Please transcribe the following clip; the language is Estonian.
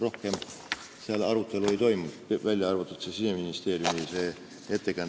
Rohkem arutelu ei toimunud, välja arvatud see Siseministeeriumi jutt.